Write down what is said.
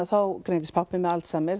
greindist pabbi með Alzheimer